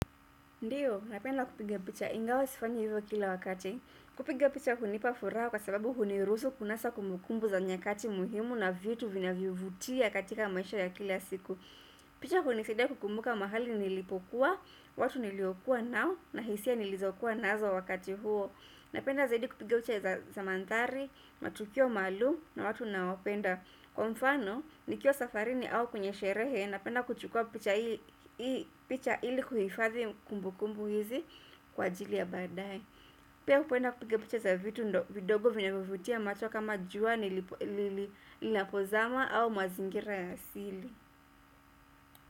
Ndiyo, napenda kupiga picha ingawa sifanyi hivyo kila wakati. Kupiga picha hunipa furaha kwa sababu hunirusu kunasa kumbukumbu za nyakati muhimu na vitu vinavyovutia katika maisha ya kila siku. Picha hunisaidia kukumbuka mahali nilipokuwa, watu niliokuwa nao na hisia nilizokuwa nazo wakati huo. Napenda zaidi kupiga picha za mandhari, matukio maalum, na watu naowapenda. Kwa mfano nikiwa safarini au kwenye sherehe napenda kuchukua picha ili kuhifadhi kumbu kumbu hizi kwa jili ya baadae pia hupenda kupiga picha za vitu ndo vidogo vyenye kuvufutia macho kama jua linapozama au mazingira ya asili.